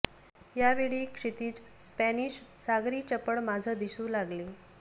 या वेळी क्षितीज स्पॅनिश सागरी चपळ माझं दिसू लागले